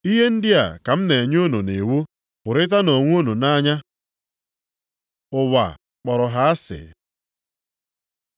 Ihe ndị a ka m na-enye unu nʼiwu, hụrịtanụ onwe unu nʼanya. Ụwa kpọrọ ha asị